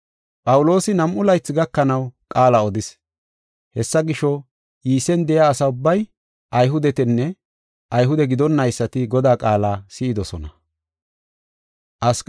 Phawuloosi nam7u laythi gakanaw qaala odis. Hessa gisho, Iisen de7iya asa ubbay, Ayhudetinne Ayhude gidonnaysati Godaa qaala si7idosona.